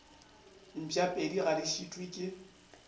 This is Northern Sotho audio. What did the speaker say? mpšapedi ga di šitwe ke